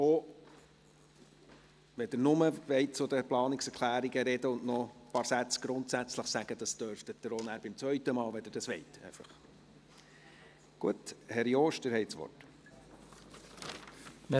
Wenn Sie nur zu den Planungserklärungen sprechen und noch ein paar Sätze zum Grundsätzlichen sagen möchten, können Sie dies selbstverständlich auch in der zweiten Runde tun, wenn Sie dies möchten.